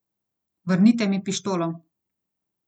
Vrnite mi pištolo.